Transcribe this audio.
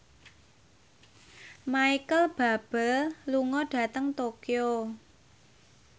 Micheal Bubble lunga dhateng Tokyo